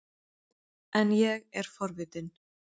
En ég er forvitin.